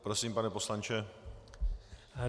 Prosím, pane poslanče.